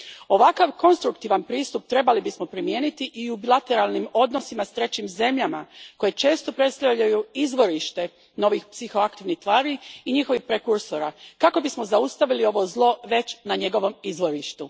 Ovakav konstruktivan pristup trebali bismo primijeniti i u bilateralnim odnosima s trećim zemljama, koje često predstavljaju izvorište novih psihoaktivnih tvari i njihovih prekursora, kako bismo zaustavili ovo zlo već na njegovom izvorištu.